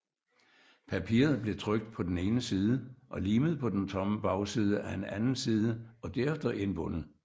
Papiret blev trykt på den ene side og limet på den tomme bagside af en anden side og derefter indbundet